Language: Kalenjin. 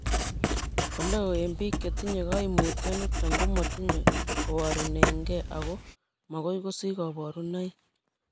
Oleo en biik chetinye koimutioniton komotinye koborunengei ako mokoi kosich koborunoik.